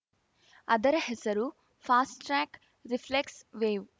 ಅದರ ಹೆಸರು fast track reflects wave